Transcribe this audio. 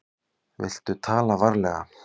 Viltu tala varlega.